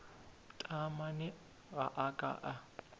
taamane ga a ka a